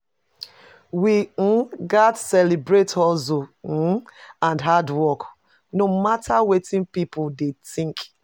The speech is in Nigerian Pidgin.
We um gats celebrate hustle um and hard work, no matter wetin pipo dey think.